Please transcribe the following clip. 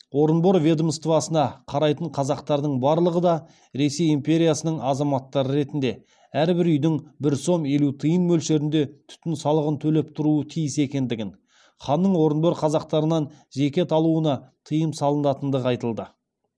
орынбор ведомствосына қарайтын қазақтардың барлығы да ресей империясының азаматтары ретінде әрбір үйдің бір сом елу тиын мөлшерінде түтін салығын төлеп тұруы тиіс екендігін ханның орынбор қазақтарынан зекет алуына тыйым салынатындығы айтылды